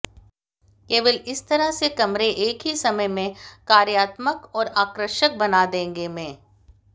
केवल इस तरह से कमरे एक ही समय में कार्यात्मक और आकर्षक बना देंगे में